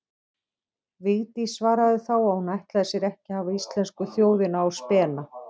Vigdís svaraði þá að hún ætlaði sér ekki að hafa íslensku þjóðina á spena.